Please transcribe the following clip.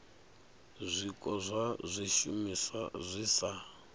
zwiko zwa zwishumiswa zwi sa